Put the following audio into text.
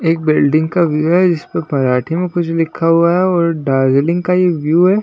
एक बिल्डिंग का व्यू है इसपे पराठे में कुछ लिखा हुआ है और दार्जिलिंग का ये व्यू है।